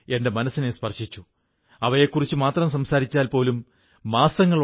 എന്നാൽ നമ്മുടെ ഖാദി ഇന്ന് പരിസ്ഥിതി സൌഹൃദ തുണി എന്ന നിലയിൽ അറിയപ്പെടുന്നു